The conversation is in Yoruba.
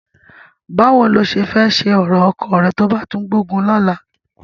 Báwo ni o ṣe fẹ́ ṣe ọ̀rọ̀ ọkọ rẹ tó bá tún gbógun lọ́la?